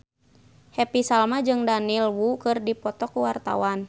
Happy Salma jeung Daniel Wu keur dipoto ku wartawan